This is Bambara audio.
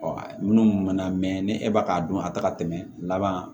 Ɔ minnu bɛna mɛn ni e b'a k'a dɔn a tɛ ka tɛmɛ laban